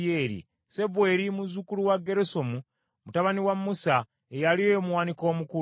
Sebweri muzzukulu wa Gerusomu, mutabani wa Musa, ye yali omuwanika omukulu.